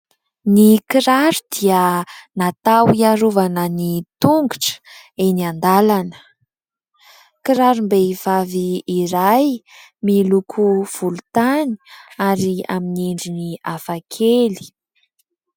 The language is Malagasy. Ny kiraro dia natao hiarovana ny tongotra eny an-dàlana. Kirarom-behivavy iray miloko volontany ary amin'ny endriny hafakely.